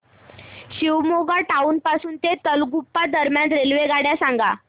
Shivamogga town पासून तलगुप्पा दरम्यान रेल्वेगाड्या सांगा